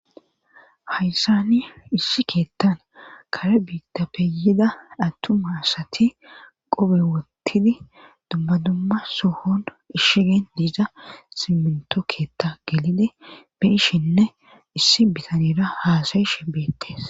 Hayssani issi keettan kare biitta peyida attuma asati qobe wottidi dummadumma sohon ishigen diiza siminto keetta gelidi beyishinne issi bitanira haasayishe beettes.